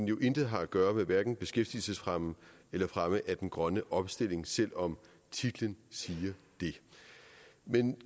jo intet har at gøre med hverken beskæftigelsesfremme eller fremme af den grønne omstilling selv om titlen siger det men